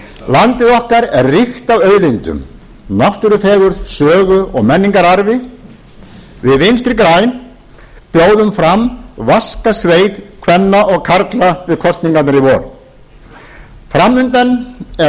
landið okkar er ríkt af auðlindum náttúrufegurð sögu og menningararfi við vinstri græn bjóðum fram vaska sveit kvenna og karla við kosningarnar í vor fram undan er